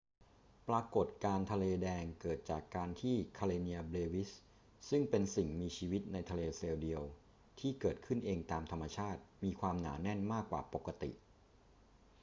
ปรากฏการณ์ทะเลแดงเกิดจากการที่ karenia brevis ซึ่งเป็นสิ่งมีชีวิตในทะเลเซลล์เดียวที่เกิดขึ้นเองตามธรรมชาติมีความหนาแน่นมากกว่าปกติ